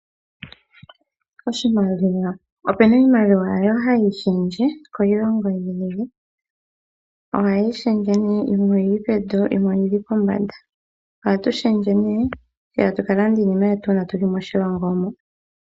Opuna iimalilwa mbyoka hayi lunduluka, kiilongo yi ili. Ohayi lunduluka nee yimwe oyili pevi, yimwe oyili pombanda. Ohatu lundulula nduno, tse tatu ka landa iinima yetu uuna tuli moshilongo moka.